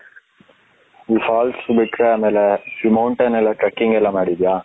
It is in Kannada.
ಈ falls ಬಿಟ್ರೆ ಆಮೇಲೆ ಇ mountain ಎಲ್ಲಾ trekking ?????? ಮಾಡಿದ್ಯಾ?